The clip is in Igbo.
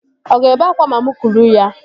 Ọ ga-ebe akwa ma mụ kuru ya?